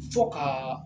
Fo ka